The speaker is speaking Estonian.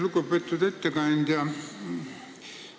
Lugupeetud ettekandja!